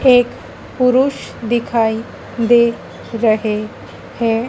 एक पुरुष दिखाई दे रहे है।